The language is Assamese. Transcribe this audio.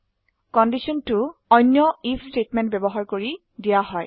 কণ্ডিশ্যন 2 অন্য আইএফ স্টেটমেন্ট ব্যবহাৰ কৰি দিয়া হয়